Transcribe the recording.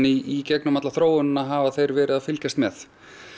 í gegnum alla þróunina hafa þeir verið að fylgjast með